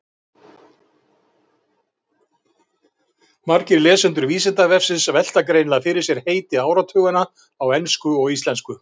Margir lesendur Vísindavefsins velta greinilega fyrir sér heiti áratuganna á ensku og íslensku.